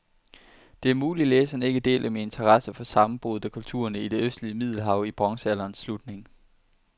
Det er muligt, læseren ikke deler min interesse for sammenbruddet af kulturerne i det østlige middelhav i bronzealderens slutning.